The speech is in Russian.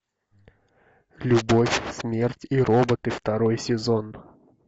любовь смерть и роботы второй сезон